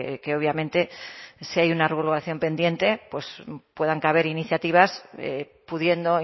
que obviamente si hay una regulación pendiente pues puedan caber iniciativas pudiendo